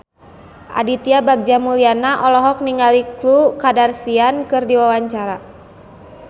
Aditya Bagja Mulyana olohok ningali Khloe Kardashian keur diwawancara